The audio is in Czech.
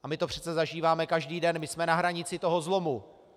A my to přece zažíváme každý den, my jsme na hranici toho zlomu.